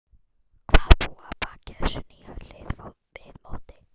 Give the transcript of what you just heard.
Hvað búi að baki þessu hlýja viðmóti.